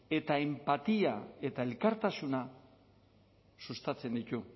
eta enpatia eta elkartasuna sustatzen ditu